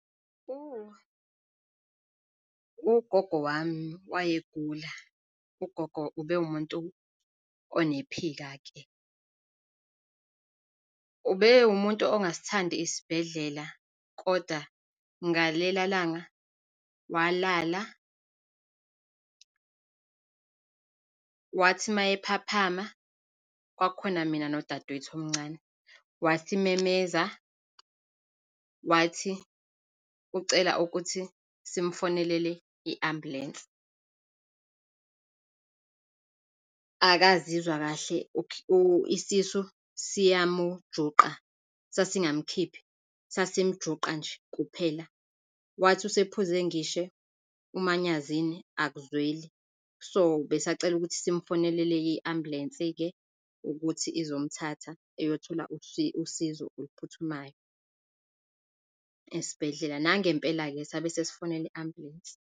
ugogo wami wayegula. Ugogo ubewumuntu onephika-ke, ubewumuntu ongasithandi isibhedlela, kodwa ngalela langa walala, wathi mayephaphama, kwakukhona mina nodadewethu omncane, wasesimemeza, wathi ucela ukuthi simufonelele i-ambulensi, akaziwa kahle isisu siyamujuqa. Sasingamkhiphi, sasimjuqa nje kuphela. Wathi usephuze ngisho umanyazini, akuzweli. So, ubesacela ukuthi simumfonelele i-ambulensi-ke ukuthi izomthatha, eyothola usizo oluphuthumayo esibhedlela. Nangempela-ke sabe sesifonela i-ambulensi.